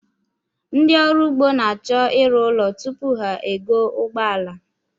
Ndị ọrụugbo na-achọ ịrụ ụlọ tupu ha egoo ụgbọala